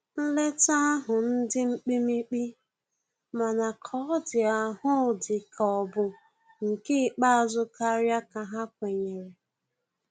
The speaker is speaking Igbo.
Nleta ahu ndi mkpimikpi, mana ka ọ di ahụ di ka ọ bụ nke ikpeazu karia ka ha kwenyere.